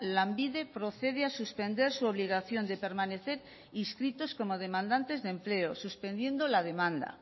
lanbide procede a suspender su obligación de permanecer inscritos como demandantes de empleo suspendiendo la demanda